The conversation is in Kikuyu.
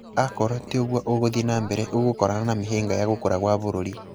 Akorwo tiũguo ũgũthiĩ nambere ũgũkorana na mĩhĩnga ya gũkũra gwa bũrũri."